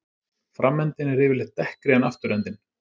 Framendinn er yfirleitt dekkri en afturendinn.